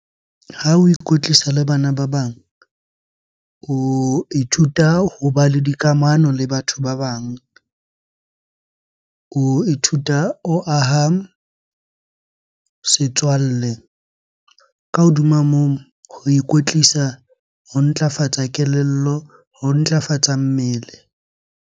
Ha o ikwetlisa le bana ba bang, o ithuta hoba le dikamano le batho ba bang. O ithuta, o aha setswalle. Ka hodima moo, ho ikwetlisa ho ntlafatsa kelello, ho ntlafatsa mmele.